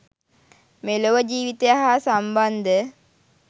මෙලොව ජීවිතය හා සම්බන්ධ